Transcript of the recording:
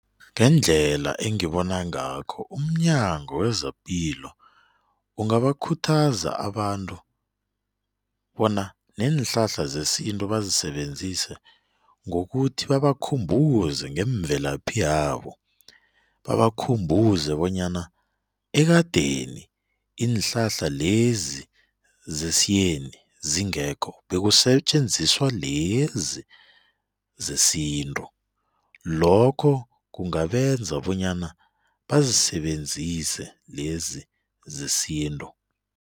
Ngendlela engibona ngakho umNyango wezePilo ungabakhuthaza abantu bona neenhlahla zesintu bazisebenzise ngokuthi babakhumbuze ngemvelaphi yabo, babakhumbuze bonyana ekadeni iinhlahla lezi zesiyeni zingekho bekusetjenziswa lezi zesintu lokho kungabenza bonyana bazisebenzise lezi zesintu.